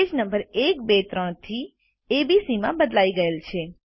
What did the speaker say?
page number 1 2 3 થી A B C માં બદલાઈ ગયેલ છે